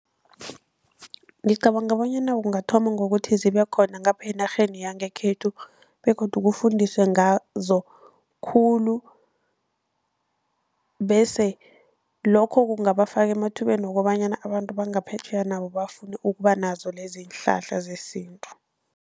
Ngicabanga bonyana kungathoma ngokuthi zibe khona ngapha enarheni yangekhethu, begodu kufundiswe ngazo khulu bese lokho kungabafaka emathubeni wokobanyana abantu bangaphetjheya nabo bafune ukuba nazo lezi iinhlahla zesintu.